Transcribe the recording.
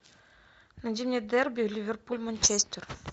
найди мне дерби ливерпуль манчестер